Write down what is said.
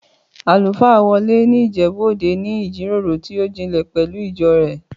Àlùfáà Wọlé ní Ìjẹ̀bú-Òde ní ìjíròrò tó jinlẹ̀ pẹ̀lú ìjọ rẹ̀